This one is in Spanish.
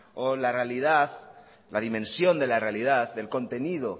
o la realidad la dimensión de la realidad del contenido